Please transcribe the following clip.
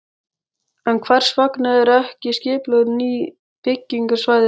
En hvers vegna eru ekki skipulögð ný byggingarsvæði strax?